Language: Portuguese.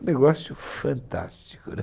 Um negócio fantástico, né?